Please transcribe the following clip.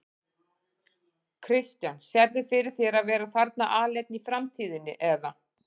Kristján: Sérðu fyrir þér að vera þarna aleinn í framtíðinni eða?